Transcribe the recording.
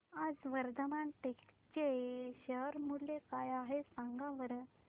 आज वर्धमान टेक्स्ट चे शेअर मूल्य काय आहे सांगा बरं